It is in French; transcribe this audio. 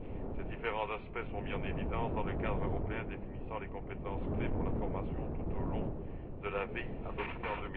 Ces différents aspects sont mis en évidence dans le cadre européen définissant les compétences clés pour la formation tout au long de la vie défini en